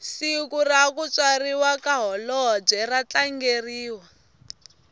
siku rakutswariwa kahholobwe ratlangeriwa